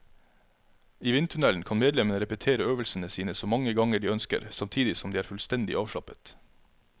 I vindtunnelen kan medlemmene repetere øvelsene sine så mange ganger de ønsker, samtidig som de er fullstendig avslappet.